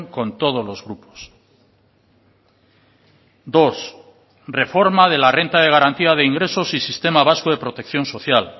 con todos los grupos dos reforma de la renta de garantía de ingresos y sistema vasco de protección social